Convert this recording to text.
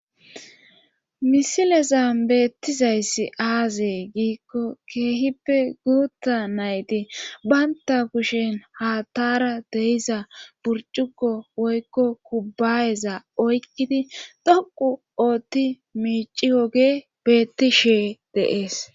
misilezan beettizayssi aazee giikko keehippe guutta nayti baynta kushen ha taara dehiza burcukko woykko kubbaayeza oykkidi dhoqu ootti miici woge beettishee de'es